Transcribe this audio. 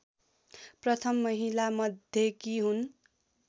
प्रथम महिलामध्येकी हुन्